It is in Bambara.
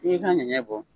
I y'i ka ɲɛgɛ